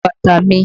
Fọ bàtà mi!